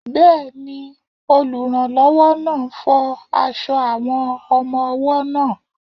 Bẹ́ẹ̀ni, olùrànlọ́wọ́ náà ń fọ aṣọ àwọn ọmọ-ọwọ́ náà